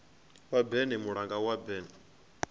wa berne mulanga wa berne